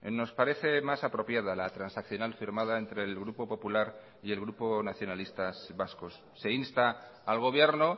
nos parece más apropiada la transaccional firmada entre el grupo popular y el grupo nacionalistas vascos se insta al gobierno